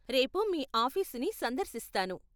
రేపు మీ ఆఫీసుని సందర్శిస్తాను.